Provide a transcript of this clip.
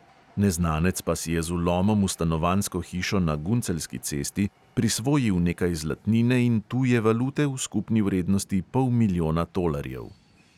Neznanec pa si je z vlomom v stanovanjsko hišo na gunceljski cesti prisvojil nekaj zlatnine in tuje valute v skupni vrednosti pol milijona tolarjev.